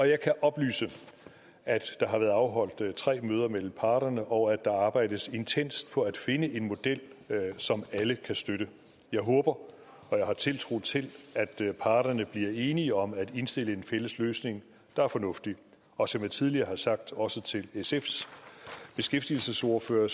jeg kan oplyse at der har været afholdt tre møder mellem parterne og at der arbejdes intenst på at finde en model som alle kan støtte jeg håber og har tiltro til at parterne bliver enige om at indstille en fælles løsning der er fornuftig og som jeg tidligere har sagt også til sfs beskæftigelsesordfører